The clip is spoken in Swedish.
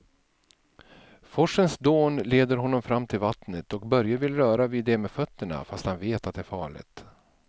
Forsens dån leder honom fram till vattnet och Börje vill röra vid det med fötterna, fast han vet att det är farligt.